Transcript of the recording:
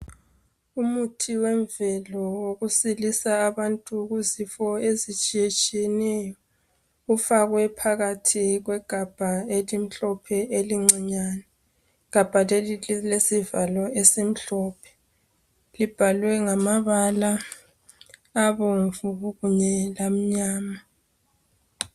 Umuthi wemvelo wokusilisa abantu kuzifo ezitshiyetshiyeneyo. Kufakwe phakathi kwegabha elimhlophe elincinyane. Igabha leli lilesivalo esimhlophe. Libhalwe ngamabala abomvu kunye lamnyama.